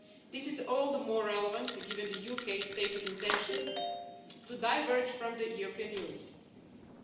This is all the more relevant given the UK's stated intention to diverge from the European Union.